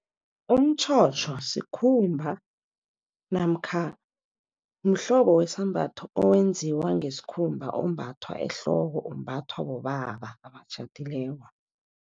Umtjhotjho sikhumba namkha mhlobo wesambatho, owenziwa ngesikhumba ombathwa ehloko. Umbathwa bobaba abatjhadileko.